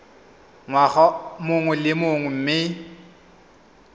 ngwaga mongwe le mongwe mme